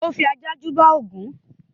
ó fi ajá júbà Ògún